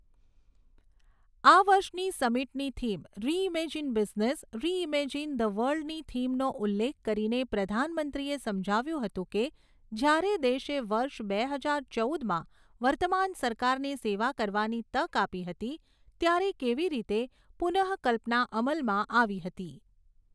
આ વર્ષની સમિટની theme reimagine business, reimagine the world નીથીમનો ઉલ્લેખ કરીને પ્રધાનમંત્રીએ સમજાવ્યું હતું કે, જ્યારે દેશે વર્ષ બે હજાર ચૌદમાં વર્તમાન સરકારને સેવા કરવાની તક આપી હતી, ત્યારે કેવી રીતે પુનઃકલ્પના અમલમાં આવી હતી.